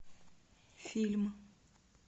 фильм